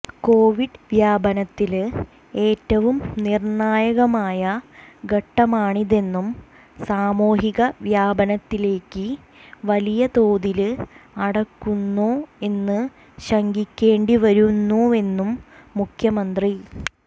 Covid വ്യാപനത്തില് ഏറ്റവും നിര്ണായകമായ ഘട്ടമാണിതെന്നും സാമൂഹിക വ്യാപനത്തിലേക്ക് വലിയ തോതില് അടുക്കുന്നോ എന്ന് ശങ്കിക്കേണ്ടി വരുന്നുവെന്നും മുഖ്യമന്ത്രി